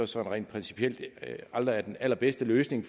sådan rent principielt aldrig er den allerbedste løsning